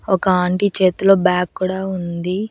ఒక ఆంటీ చేతిలో బ్యాగ్ కూడా ఉంది.